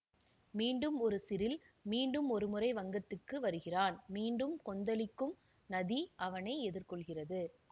மீண்டும் ஒரு சிரில் மீண்டும் ஒருமுறை வங்கத்துக்கு வருகிறான் மீண்டும் கொந்தளிக்கும் நதி அவனை எதிர்கொள்கிறது